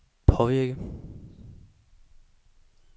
påvirke